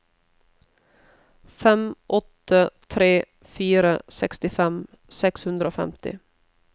fem åtte tre fire sekstifem seks hundre og femti